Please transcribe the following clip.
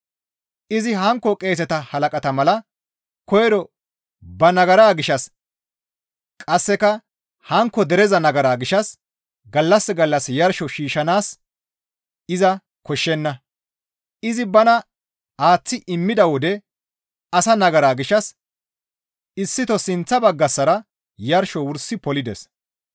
Izi hankko qeeseta halaqata mala koyro ba nagaraa gishshas qasseka hankko dereza nagaraa gishshas gallas gallas yarsho shiishshanaas iza koshshenna; izi bana aaththi immida wode asa nagara gishshas issito sinththa baggassara yarsho wursi polides.